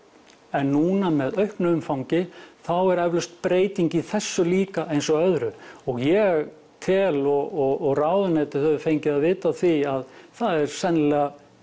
en núna með auknu umfangi þá er eflaust breyting í þessu líka eins og öðru og ég tel og ráðuneytið hefur fengið að vita af því að það er sennilega